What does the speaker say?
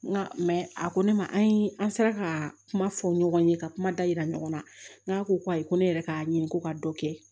N ka a ko ne ma an ye an sera ka kuma fɔ ɲɔgɔn ye ka kuma da yira ɲɔgɔn na n k'a ko ayi ko ne yɛrɛ ka ɲini ko ka dɔ kɛ